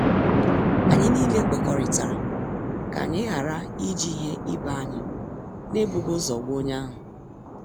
Anyị niile kwekọrịtara ka anyị ghara iji ihe ibé anyị na e bụghị ụzọ gwa onye ahụ.